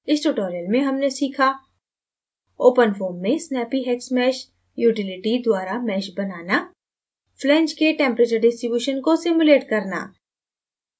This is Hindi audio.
इस tutorial में हमने सीखा: